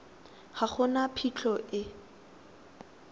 ga go na phitlho e